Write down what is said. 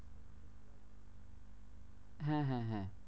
হ্যাঁ হ্যাঁ হ্যাঁ